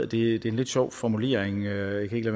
det er en lidt sjov formulering jeg kan ikke